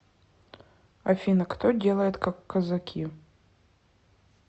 афина кто делает как казаки